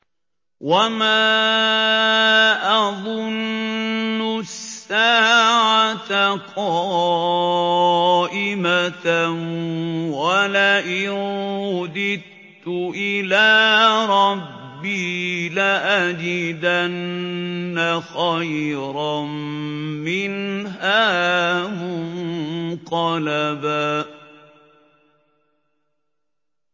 وَمَا أَظُنُّ السَّاعَةَ قَائِمَةً وَلَئِن رُّدِدتُّ إِلَىٰ رَبِّي لَأَجِدَنَّ خَيْرًا مِّنْهَا مُنقَلَبًا